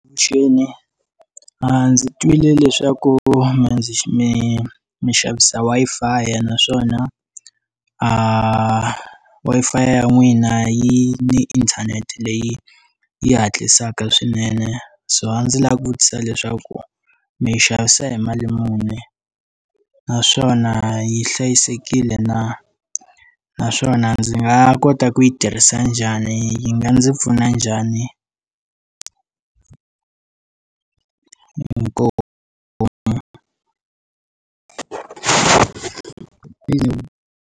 Avuxeni, ndzi twile leswaku mi ndzi mi minxavisa Wi-Fi naswona Wi-Fi ya n'wina yi ni inthanete leyi yi hatlisaka swinene so a ndzi lava ku vutisa leswaku mi yi xavisa hi mali muni naswona yi hlayisekile na, naswona ndzi nga kota ku yi tirhisa njhani yi nga ndzi pfuna njhani? Inkomu.